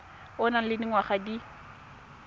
o nang le dingwaga di